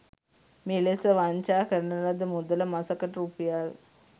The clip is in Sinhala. මෙලෙස වංචා කරන ලද මුදල මසකට රුපියල්